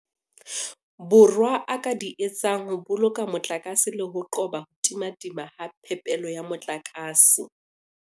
Borwa a ka di etsang ho boloka motlakase le ho qoba ho timatima ha phepelo ya motlakase.